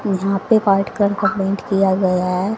यहां पर बैठकर कमेंट किया गया है।